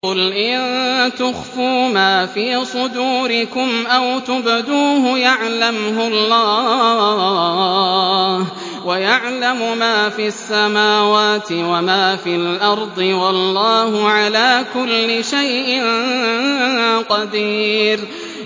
قُلْ إِن تُخْفُوا مَا فِي صُدُورِكُمْ أَوْ تُبْدُوهُ يَعْلَمْهُ اللَّهُ ۗ وَيَعْلَمُ مَا فِي السَّمَاوَاتِ وَمَا فِي الْأَرْضِ ۗ وَاللَّهُ عَلَىٰ كُلِّ شَيْءٍ قَدِيرٌ